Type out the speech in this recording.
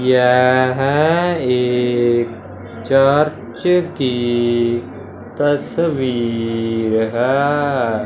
यह एक चर्च की तस्वीर हैं।